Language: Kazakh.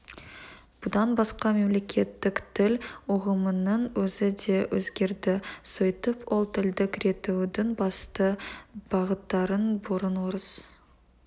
бұдан басқа мемлекеттік тіл ұғымының өзі де өзгерді сөйтіп ол тілдік реттеудің басты бағыттарын бұрын орыс